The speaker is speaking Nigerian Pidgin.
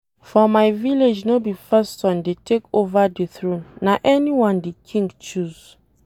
For my village no be first son dey take over the throne na anyone the King choose.